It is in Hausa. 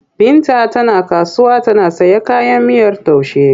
Binta tana kasuwa tana sayan kayan miyar taushe.